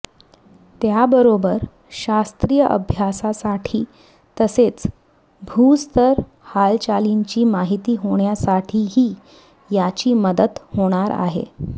त्याबरोबर शास्त्रीय अभ्यासासाठी तसेच भूस्तर हालचालींची माहिती होण्यासाठीही याची मदत होणार आहे